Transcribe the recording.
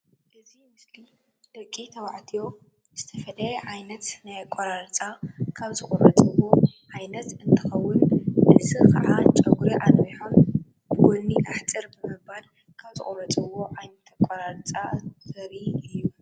እዚ ምስሊ ደቂ ተባዕትዮ ዝተፈለየ ዓይነት ናይ ኣቋራርፃ ካብ ዝቁረፅዎ ዓይነት እንትኮውን እዚ ካኣ ፀጉሪ ኣንውሖም ብጎኒ ኣሕፅር ብምባል ካብ ዝቁረፅዎ ኣቋራርፃ ዓይነት እዩ።